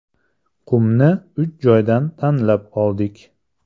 Qumni uch joydan tanlab oldik.